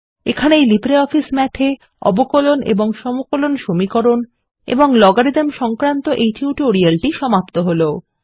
এখানেই LibreOffice Math এ অবকলন এবং সমকলন সমীকরণ এবং লগারিদম সংক্রান্ত এই টিউটোরিয়াল সমাপ্ত হল